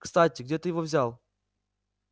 кстати где ты его взял